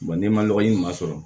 n'i ma nɔgɔ ɲuman sɔrɔ